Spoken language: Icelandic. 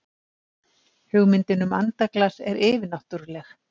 hugmyndin um andaglas er yfirnáttúrleg